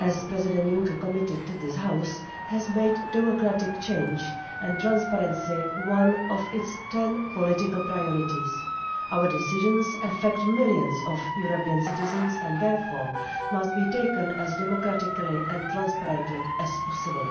as President Juncker committed to this House has made democratic change and transparency one of its ten political priorities. Our decisions affect millions of European citizens and therefore must be taken as democratically and transparently as possibly.